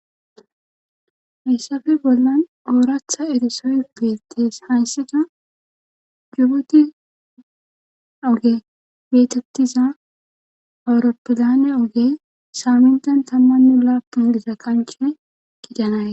hessafe bollan ooratha edisoe beettes haysseta jubuti oge beetettiza awuroppidane oge saamintan tammannu lappun diza kancie gidanae